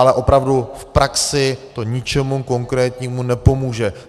Ale opravdu, v praxi to ničemu konkrétnímu nepomůže.